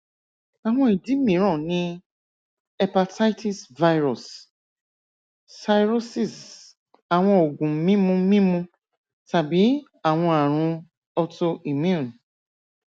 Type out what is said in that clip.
awọn idi miiran ni hepatitis virus cirrhosis awọn oogun mimu mimu tabi awọn arun autoimmune